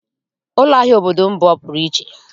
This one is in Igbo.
Ụlọahịa obodo m bụ ọpụrụ iche